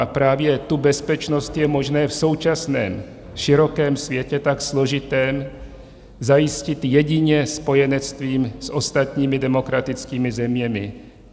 A právě tu bezpečnost je možné v současném širokém světě, tak složitém, zajistit jedině spojenectvím s ostatními demokratickými zeměmi.